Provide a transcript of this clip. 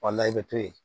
i bɛ to yen